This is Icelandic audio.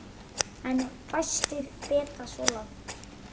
En fæstir feta svo langt.